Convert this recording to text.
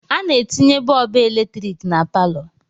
A na-etinye bọọbụ eletrik na palọ.